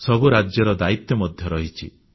ସବୁ ରାଜ୍ୟର ଦାୟିତ୍ୱ ମଧ୍ୟ ରହିଛି